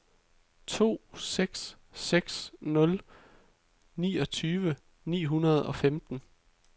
to seks seks nul niogtyve ni hundrede og femten